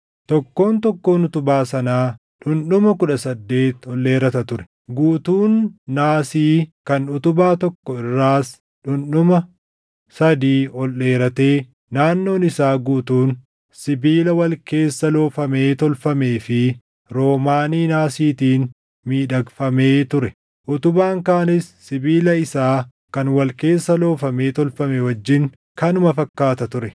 Tokkoon tokkoon utubaa sanaa dhundhuma kudha saddeet ol dheerata ture. Guutuun naasii kan utubaa tokko irraas dhundhuma sadii ol dheeratee naannoon isaa guutuun sibiila wal keessa loofamee tolfamee fi roomaanii naasiitiin miidhagfamee ture. Utubaan kaanis sibiila isaa kan wal keessa loofamee tolfame wajjin kanuma fakkaata ture.